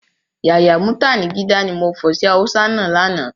Yàyà mútànigídá, ni mo fọ̀ sí Hausa náà lánàá